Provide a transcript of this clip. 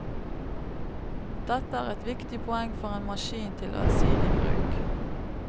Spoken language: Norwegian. Dette er et viktig poeng for en maskin til allsidig bruk.